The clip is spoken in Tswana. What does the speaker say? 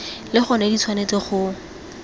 le gona di tshwanetse go